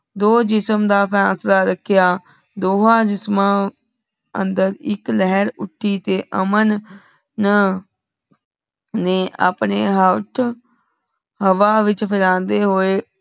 ਢੋ ਜਿਸਮ ਦਾ ਫੈਸਲਾ ਰੱਖਿਆ ਦੋਵਾਂ ਜਿਸਮ ਅੰਧਰ ਇਕ ਲਹਿਰ ਉਠਿ ਤੇ ਅਮਨ ਨ ਨੇ ਅਪਨੇ ਹਾਥ ਹਵਾ ਵਿਚ ਫਹੈਲੰਢੇ ਹੁਐ